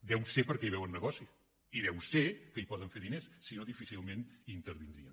deu ser perquè hi veuen negoci i deu ser que hi poden fer diners si no difícilment intervindrien